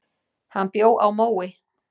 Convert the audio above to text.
Hann bjó á Mói.